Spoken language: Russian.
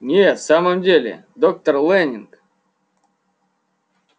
нет в самом деле доктор лэннинг